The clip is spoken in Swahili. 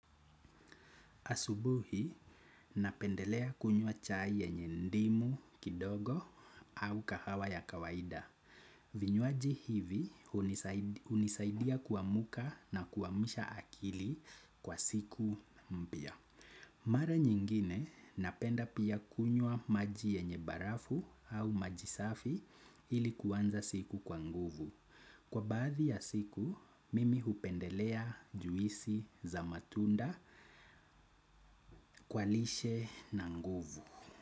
Asubuhi, napendelea kunywa chai yenye ndimu kidogo au kahawa ya kawaida. Vinywaji hivi unisaidia kuamuka na kuamisha akili kwa siku mpya. Mara nyingine napenda pia kunywa maji yenye barafu au maji safi ili kuanza siku kwa nguvu. Kwa baadhi ya siku, mimi upendelea juisi za matunda kwa lishe na nguvu.